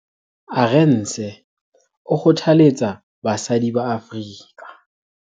Arendse o kgothaletsa basadi ba Afrika